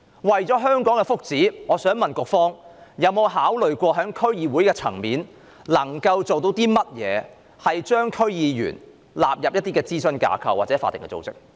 為了香港的福祉，我想問局方有否考慮可以在區議會層面做些甚麼，把區議員納入諮詢架構或法定組織？